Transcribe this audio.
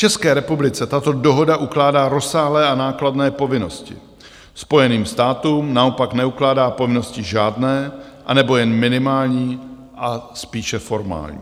České republice tato dohoda ukládá rozsáhlé a nákladné povinnosti, Spojeným státům naopak neukládá povinnosti žádné, anebo jen minimální a spíše formální.